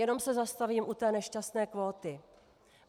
Jenom se zastavím u té nešťastné kvóty.